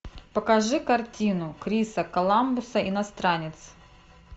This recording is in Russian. покажи картину криса коламбуса иностранец